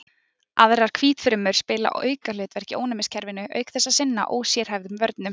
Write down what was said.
Aðrar hvítfrumur spila aukahlutverk í ónæmiskerfinu auk þess að sinna ósérhæfðum vörnum.